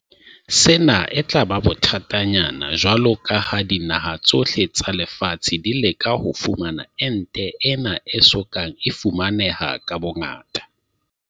Sena e tla ba bothatanyana jwalo ka ha dinaha tsohle tsa lefatshe di leka ho fumana ente ena e so kang e fumaneha ka bongata.